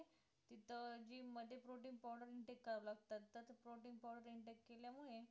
तर gym मध्ये protein powder intake करावे लागतात तर ते protein powder intake केल्या मुळे